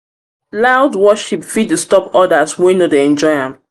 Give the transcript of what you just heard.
loud worship fit disturb others wey no dey enjoy am.